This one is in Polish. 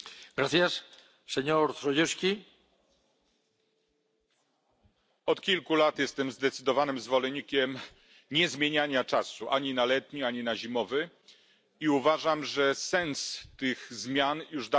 Panie Przewodniczący! Od kilku lat jestem zdecydowanym zwolennikiem niezmieniania czasu ani na letni, ani na zimowy, i uważam, że sens tych zmian już dawno mamy za sobą.